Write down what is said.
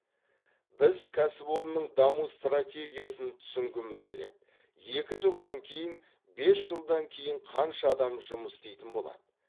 біз кәсіпорынның даму стратегиясын түсінгіміз келеді екі жылдан кейін бес жылдан кейін қанша адам жұмыс істейтін болады